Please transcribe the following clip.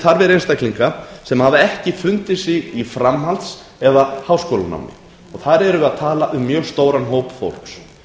þarfir einstaklinga sem hafa ekki fundið sig í framhalds eða háskólanámi og þar erum við að tala um mjög stóran hóp fólks